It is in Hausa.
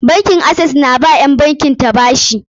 Bankin Access na ba wa ƴan bankin ta bashi.